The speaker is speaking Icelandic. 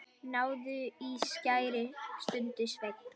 Náðu í skæri, stundi Sveinn.